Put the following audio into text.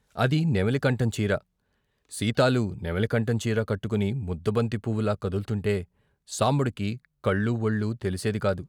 అది నెమిలి కంఠంచీర, సీతాలు నెమిలి కంఠంచీర కట్టుకుని ముద్దబంతి పువ్వులా కదుల్తుంటే సాంబడికి కళ్ళూ వొళ్ళూ తెలిసేది కాదు.